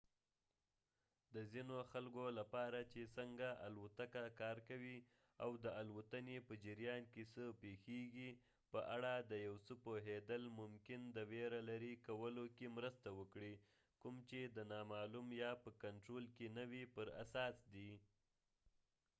د ځینو خکلو لپاره چې څنګه الوتکه کار کوي او د الوتنې په جریان کې څه پیښیږي په اړه د یو څه پوهیدل ممکن د ویره لېرې کولو کې مرسته وکړي کوم چې د نامعلوم یا په کنټرول کې نه وي پر اساس دي